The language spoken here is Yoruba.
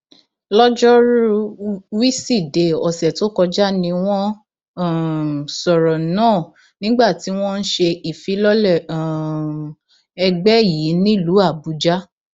lọjọrùú wísidee ọsẹ tó kọjá ni wọn um sọrọ náà nígbà tí wọn ń ṣe ìfilọlẹ um ẹgbẹ yìí nílùú àbújá